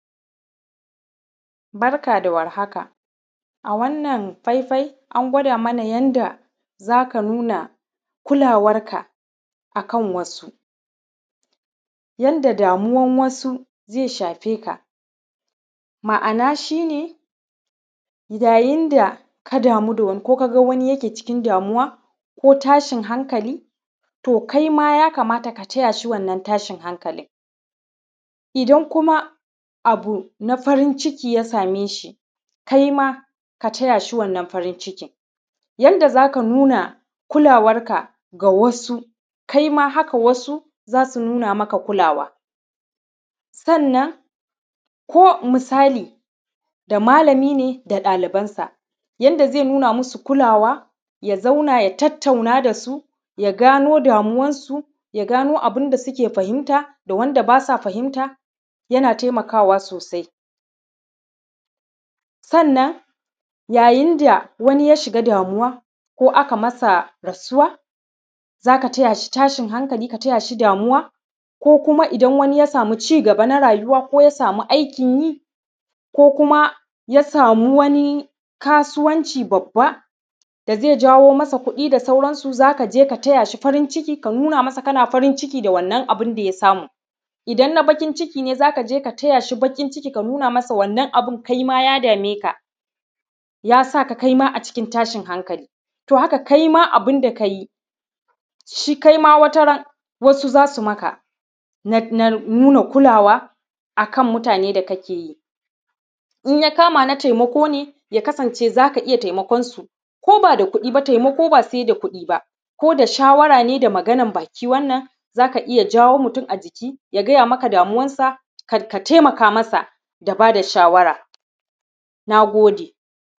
Barka da warhaka, a wannan faifai, an gwada mana yadda za ka nuna kulawarka a kan wasu. Yanda damuwan wasu ze shafe ka, ma’ana shi ne yayin da ka damu da wani ko ka ga wani yake cikin damuwa ko tashin hankali, to kai ma ya kamata ka taya shi wannan tashin hankalin. Idan kuma abu na farin ciki ya same shi, kai ma ka taya shi wannan farin cikin. Yanda za ka nuna kulawarka ga wasu kai ma haka wasu za su nuna maka kulawa. Sannan, ko misali da malami ne da ɗalibansa, yanda ze nuna musu kulawa, ya zauna ya tattauna da su, ya gano damuwansu, ya gano abin da suke fahinta da wanda ba sa fahinta, yana temakawa sosai. Sannan, yayin da wani ya shiga damuwa ko aka masa rasuwa, za ka taya shi tashin hankali ka taya shi damuwa. Ko kuma idan wani ya samu cigaba na rayuwa, ko ya samu aikin yi, ko kuma ya samu wani kasuwanci babba da ze jawo masa kuɗi da sauransu, za ka je ka taya shi farin ciki, ka nuna masa kana farin ciki da wannan abun da ya samu. Idan na bakin ciki ne, za ka je ka taya shi baƙin ciki ka nuna masa wannan abin kai ma ya dame ka, ya sa ka kai ma a cikin tashin hankali. To, haka kai ma abun da ka yi, sh; kai ma wataran, wasu za sum aka na; na nuna kulawa a kan mutane da kake yi. In ya kama na temako ne, ya kasance za ka iya temakon su, ko ba da kuɗi ba, temako ba se da kuɗi ba, ko da shawara ne da maganan baki wannan, za ka iya jawo mutun a jiki ya gaya maka damuwansa, k; ka temaka masa da ba da shawara, na gode.